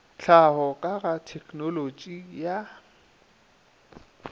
tlhaho ka ga tegnolotši ya